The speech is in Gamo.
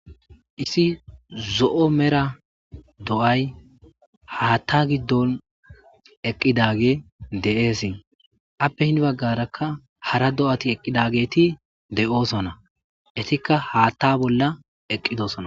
Isi zo'o mera do'ay haatta giddon eqqidage de'eesi appe hin baggarakka hara do'ati eqqidageeti de'osona etikka haatta bolla eqqidosona.